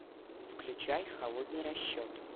включай холодный расчет